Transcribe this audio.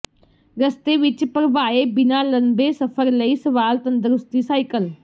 ਰਸਤੇ ਵਿੱਚ ਭਰਵਾਏ ਬਿਨਾ ਲੰਬੇ ਸਫ਼ਰ ਲਈ ਸਵਾਲ ਤੰਦਰੁਸਤੀ ਸਾਈਕਲ